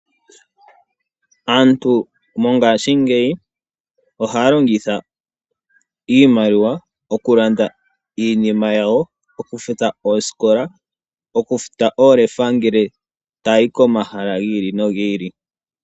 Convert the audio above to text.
Aantu mongashingeyi ohaa longitha iimaliwa , okulanda iinima yawo, okufuta oosikola, okufuta oolefa angele taa yi komahala gi ili nogi ilki.